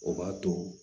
O b'a to